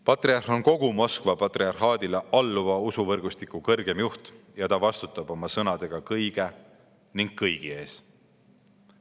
Patriarh on kogu Moskva patriarhaadile alluva usuvõrgustiku kõrgeim juht ning ta vastutab oma sõnadega kõige ja kõigi ees.